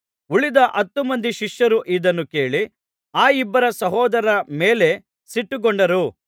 ಉಳಿದ ಹತ್ತು ಮಂದಿ ಶಿಷ್ಯರು ಇದನ್ನು ಕೇಳಿ ಆ ಇಬ್ಬರು ಸಹೋದರರ ಮೇಲೆ ಸಿಟ್ಟುಗೊಂಡರು